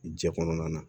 Jɛ kɔnɔna na